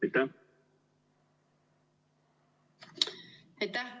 Aitäh!